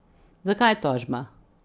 Zakaj tožba?